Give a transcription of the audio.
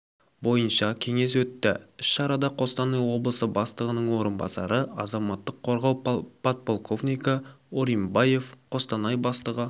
бойынша кеңес өтті іс шарада қостанай облысы бастығының орынбасары азаматтық қорғау подполковнигі оримбаев қостанай бастығы